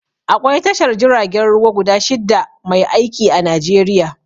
Aƙwai tashar jiragen ruwa guda shida mai aiƙi a Najeriƴa.